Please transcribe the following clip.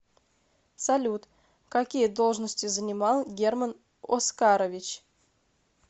салют какие должности занимал герман оскарович